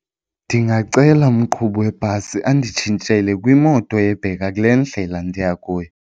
Ndingacela umqhubi webhasi anditshintshele kwimoto ebheka kule ndlela ndiya kuyo.